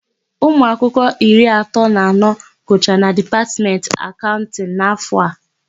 Ụmụakwụkwọ iri asatọ na anọ gụchara na Dipatmentị Akaụntịnụ. n'áfọ̀ a.